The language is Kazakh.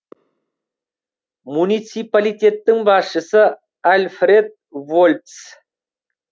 муниципалитеттің басшысы альфред вольц